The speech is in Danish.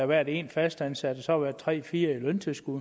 været en fastansat og tre fire i løntilskud